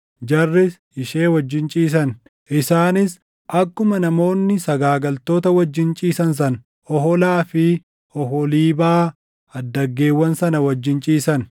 Jarris ishee wajjin ciisan. Isaanis akkuma namoonni sagaagaltoota wajjin ciisan sana Oholaa fi Oholiibaa addaggeewwan sana wajjin ciisan.